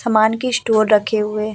सामान के स्टोर रखे हुए --